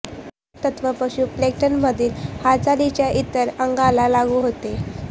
हेच तत्त्व पशु प्लेंक्टनमधील हालचालींच्या इतर अंगांना लागू होते